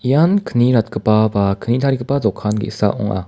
ian kni ratgipa ba kni tarigipa dokan ge·sa ong·a.